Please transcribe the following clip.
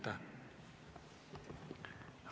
Aitäh!